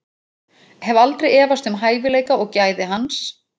Ég hef aldrei efast um hæfileika og gæði hans.